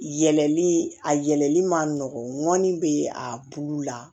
Yɛlɛli a yɛlɛli ma nɔgɔnni bɛ a kulu la